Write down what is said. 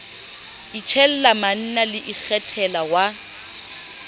itjella manna le ikgethela wa